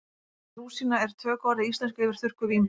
orðið rúsína er tökuorð í íslensku yfir þurrkuð vínber